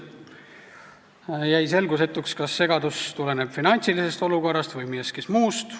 On jäänud selgusetuks, kas segadus tuleneb finantsilisest olukorrast või millestki muust.